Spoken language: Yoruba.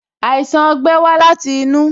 Àìsàn ogbẹ́ wa láti inú